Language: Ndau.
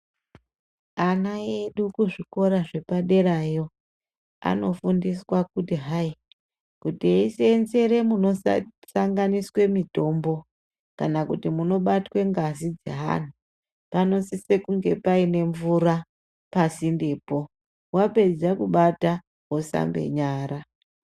Ana edu kuzvikora zvepaderayo anofundiswa kuti hai kuti eisenzere munosanganiswe mitombo kana kuti munobatwe ngazi dzeanhu panosise kunge painemvura pasindepo wapedza kubata wosambe nyara.